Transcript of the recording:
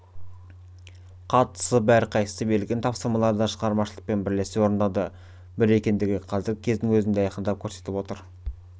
қатысып әрқайсысы берілген тапсырмаларды шығармашылықпен бірлесе орындады бір екендігін қазіргі кездің өзі айқындап көрсетіп отыр